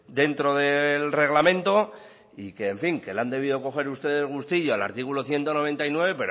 dentro del reglamento y que en fin le han debido coger ustedes gustillo al artículo ciento noventa y nueve